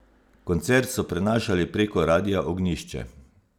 Koncert so prenašali preko radia Ognjišče.